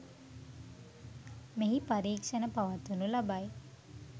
මෙහි පරීක්‍ෂණ පවත්වනු ලබයි.